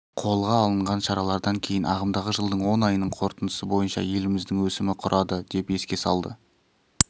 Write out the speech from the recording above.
қолға алынған шаралардан кейін ағымдағы жылдың он айының қорытындысы бойынша еліміздің өсімі құрады деп еске салды